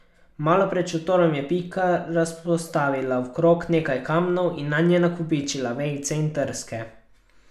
Malo pred šotorom je Pika razpostavila v krog nekaj kamnov in nanje nakopičila vejice in trske.